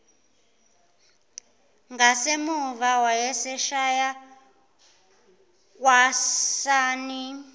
ngasemuva wayeshaya kwasani